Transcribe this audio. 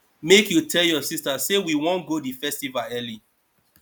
make you tell your sista say we wan go di festival early